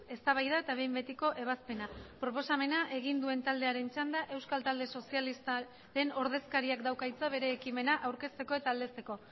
eztabaida eta behin betiko ebazpena proposamena egin duen taldearen txanda euskal talde sozialistaren ordezkariak dauka hitza bere ekimena aurkezteko eta aldezteko